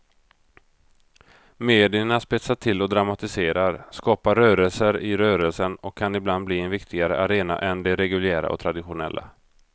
Medierna spetsar till och dramatiserar, skapar rörelser i rörelsen och kan ibland bli en viktigare arena än de reguljära och traditionella.